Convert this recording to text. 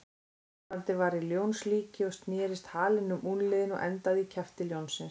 Armbandið var í ljónslíki og snerist halinn um úlnliðinn og endaði í kjafti ljónsins.